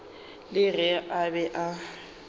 le ge a be a